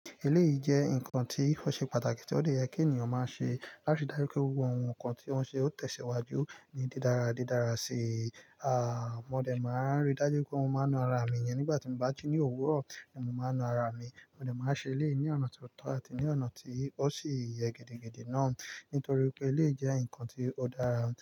Eleyi jẹ́ ǹkan tí ó ṣe pàtàkì, tí ó lè yẹ kí ènìyàn máa ṣe láti dá rí pé gbogbo àwọn ǹkan tí wọ́n ṣe ó tẹ̀síwájú ní dídára, dídára sí. À, mo dẹ̀ máa ń rí dájú pé mo máa na ara mi yẹn nígbà tí mo bá ti ní òwúrọ̀, kí mo máa na ara mi. Mo dẹ̀ máa ṣe eléyìí ní ọ̀nà tó tọ́ àti ní ọ̀nà tí ó sì yẹ gidigidi náà nítorí pé eléyìí jẹ́ ǹkan tó dára ni.